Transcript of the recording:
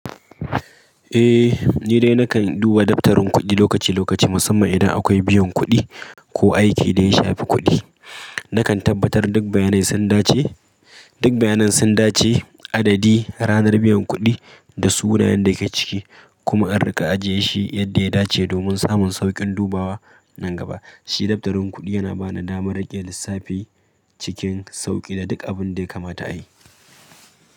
Eh ni dai nakan duba daftarin kuɗi lokaci lokaci musamman idan akwai biyan kuɗi ko aiki da ya shafi kuɗi. Nakan tabbatar duk bayanai sun dace, duk bayanan sun dace adadi ranar biyan kuɗi da sunayen da ke ciki kuma in riƙa ajiye shi yadda ya dace domin samun sauƙin dubawa nan gaba. Shi daftarin kuɗi yana bani damar riƙe lissafi cikin sauƙi da duk abin da ya kamata ayi.